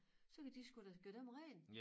Så kan de sgu da gøre dem rent